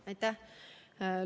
Aitäh!